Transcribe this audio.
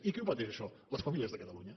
i qui ho pateix això les famílies de catalunya